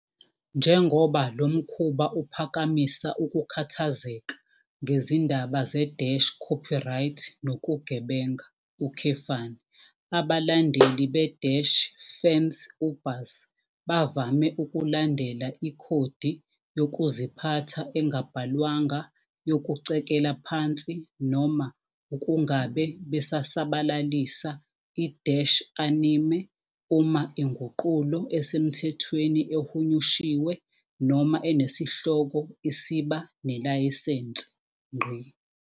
Njengoba lo mkhuba uphakamisa ukukhathazeka ngezindaba ze-copyright nokugebenga, abalandeli be-fansubers bavame ukulandela ikhodi yokuziphatha engabhalwanga yokucekela phansi noma ukungabe besasabalalisa i-anime uma inguqulo esemthethweni ehunyushiwe noma enesihloko isiba nelayisense.